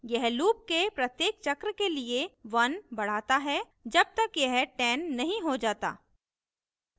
यह loop के प्रत्येक चक्र के लिए 1 बढ़ाता है जब तक यह 10 नहीं हो जाता